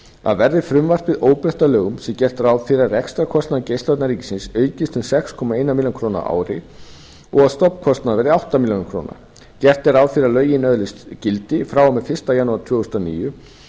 að verði frumvarpið óbreytt að lögum sé gert ráð fyrir að rekstrarkostnaður geislavarna ríkisins aukist um sex komma eina milljón króna á ári og stofnkostnaður um átta milljónir króna gert er ráð fyrir að lögin öðlist gildi frá og með fyrsta janúar tvö þúsund og níu